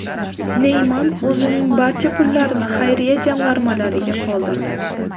Neyman o‘zining barcha pullarini xayriya jamg‘armalariga qoldirdi.